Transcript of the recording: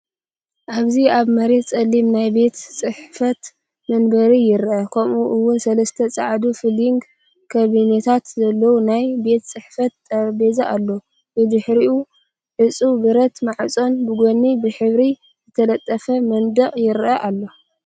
ኣብዚ ኣብ መሬት ጸሊም ናይ ቤት ጽሕፈት መንበር ይርአ፣ ከምኡ’ውን ሰለስተ ጻዕዳ ፋይሊንግ ካቢነታት ዘለዎ ናይ ቤት ጽሕፈት ጠረጴዛ ኣሎ፤ ብድሕሪኡ ዕጹው ብረት ማዕጾን ብጎኒ ብሕብሪ ዝተለጠፈ መንደቕን ይረአ ኣሎ።